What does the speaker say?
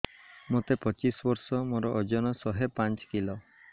ମୋତେ ପଚିଶି ବର୍ଷ ମୋର ଓଜନ ଶହେ ପାଞ୍ଚ କିଲୋ